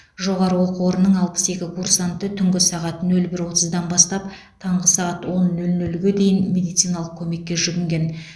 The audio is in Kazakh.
жоғары оқу орынның алпыс екі курсанты түнгі сағат нөл бір отыздан бастап таңғы сағат он нөл нөлге дейін медициналық көмекке жүгінген